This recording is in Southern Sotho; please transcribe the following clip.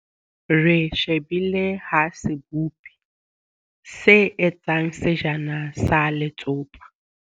Re shebile ha sebopi se etsa sejana sa letsopa.